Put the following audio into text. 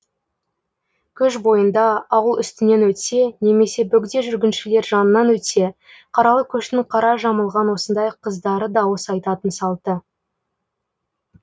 көш бойында ауыл үстінен өтсе немесе бөгде жүргіншілер жанынан өтсе қаралы көштің қара жамылған осындай қыздары дауыс айтатын салты